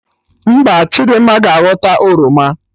Mba, Chidimma ga aghọta oroma